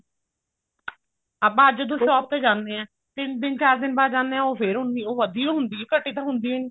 ਆਪਾਂ ਅੱਜ ਜਦੋਂ shop ਤੇ ਜਾਣੇ ਹਾਂ ਤਿੰਨ ਦਿਨ ਬਾਅਦ ਚਾਰ ਦਿਨ ਬਾਅਦ ਜਾਂਦੇ ਹਾਂ ਉਹ ਫ਼ੇਰ ਉੰਨੀ ਉਹ ਵਧੀ ਓ ਹੁੰਦੀ ਆ ਘਟੀ ਤਾਂ ਹੁੰਦੀ ਓ ਨੀ